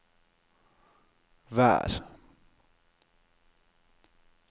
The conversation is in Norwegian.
vær